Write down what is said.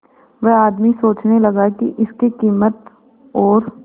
वह आदमी सोचने लगा की इसके कीमत और